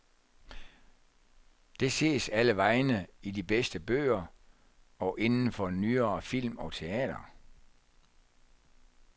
Det ses allevegne i de bedste bøger og inden for nyere film og teater.